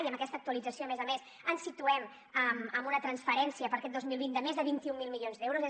i amb aquesta actualització a més a més ens situem en una transferència per a aquest dos mil vint de més de vint mil milions d’euros